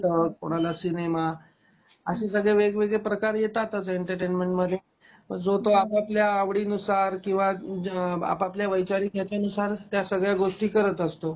कुणाला नाटक कुणाला सिनेमा असे सगळे वेगवेगळे प्रकार येतातच एंटरटेनमेंटमध्ये. मग जो तो आपआपल्या आवडी नुसार किंवा आपआपल्या वैचारीक ह्याच्या नुसार त्या सगळ्या गोष्टी करत असतो.